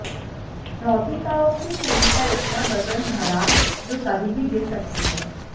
डोहगी गांव की पुली पर इतना बजन भरा जो कभी भी गिर सकती है